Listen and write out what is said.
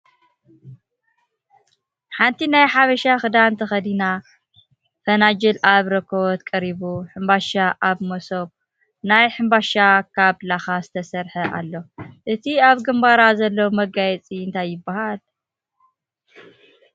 ሓንቲ ናይ ሓበሻ ክዳን ተከዲና ፈናጅል ኣብ ረኮበት ቀሪቡ ሕምባሻ ኣብ መሶብ ናይ ሕምመባሻ ካብ ላካ ዝተሰርሐ ኣሎ። እቲ ኣብ ግምባራ ዘሎ መጋየፂ እንታይ ይበሃል ?